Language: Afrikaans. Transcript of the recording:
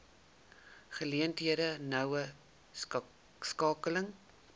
geleenthede noue skakeling